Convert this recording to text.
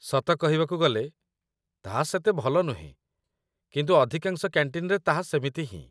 ସତ କହିବାକୁ ଗଲେ, ତାହା ସେତେ ଭଲ ନୁହେଁ, କିନ୍ତୁ ଅଧିକାଂଶ କ‍୍ୟାଣ୍ଟିନ୍‌ରେ ତାହା ସେମିତି ହିଁ